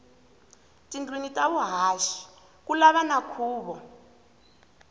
tindlwini ta vuhaxi kulava na khuvo